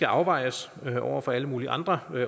afvejes over for alle mulige andre